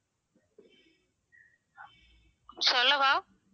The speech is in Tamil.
சொல்லவா